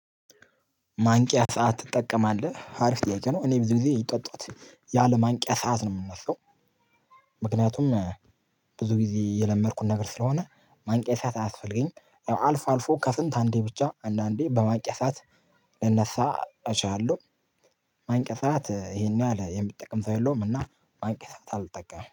ማንቂያ ሰዓት ትጠቀማለህ? አሪፍ ጥያቄ ነው፤ እኔ ብዙ ጊዜ ጠጥት ያለ ማንቂያ ሰዓት ነው የምነሳው። ምክንያቱም ብዙ ጊዜ የለመድኩ ነገር ስለሆነ ማንቂያ ሰዓት አያስፈልገኝም። ያው አልፎ አልፎ ከስንት አንዴ ብቻ አንዳንዴ በማንቂያ ሰዓት ልነሳ እችላለሁ። ማንቂያ ሰዓት ይሄን ያህል የሚጠቅም ሰው የለውም እና ማንቂያ ሰዓት አልጠቀምም።